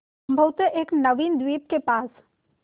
संभवत एक नवीन द्वीप के पास